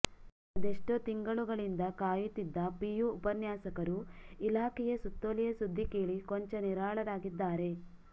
ಅದೆಷ್ಟೋ ತಿಂಗಳುಗಳಿಂದ ಕಾಯುತ್ತಿದ್ದ ಪಿಯು ಉಪನ್ಯಾಸಕರು ಇಲಾಖೆಯ ಸುತ್ತೋಲೆಯ ಸುದ್ದಿ ಕೇಳಿ ಕೊಂಚ ನಿರಾಳರಾಗಿದ್ದಾರೆ